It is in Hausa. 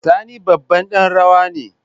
Sani babban dan rawa ne.